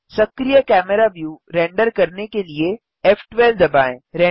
सक्रिय camera view render करने के लिए फ़12 दबाएँ